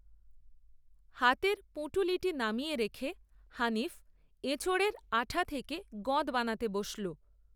হাতের পুঁটুলিটি নামিয়ে রেখে, হানিফ, এঁচোড়ের আঁঠা থেকে গঁদ বানাতে বসল